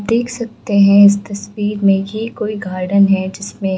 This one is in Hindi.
देख सकते हैं इस तस्वीर में की एक कोई गार्डन है जिसमें --